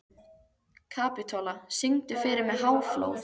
Kapitola, syngdu fyrir mig „Háflóð“.